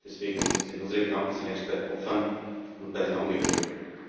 Deswegen sind unsere Gedanken zunächst bei den Opfern und bei den Angehörigen.